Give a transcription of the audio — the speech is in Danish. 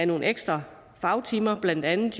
nogle ekstra fagtimer blandt andet